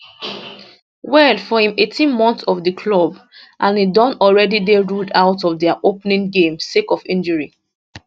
well for im 18 months for di club and e don already dey ruled out of dia opening game sake of injury